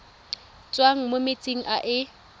tswang mo metsing a e